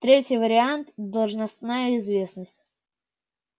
третий вариант должностная известность